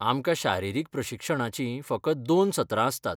आमकां शारिरीक प्रशिक्षणाचीं फकत दोन सत्रां आसतात.